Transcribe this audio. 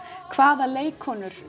hvaða leikkonur